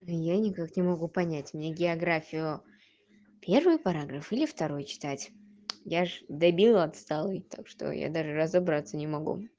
и я никак не могу понять мне географию первый параграф или второй читать я же дебил отсталый так что я даже разобраться не могу